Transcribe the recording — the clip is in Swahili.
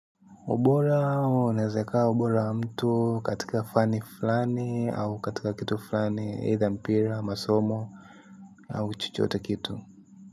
Ubora, unaweza ukawa ubora wa mtu katika fani fulani au katika kitu fulani, either mpira, masomo, au chochote kile.